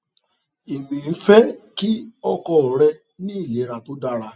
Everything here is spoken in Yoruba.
èmi ń fẹ kí ọkọ rẹ ní ìlera tó dára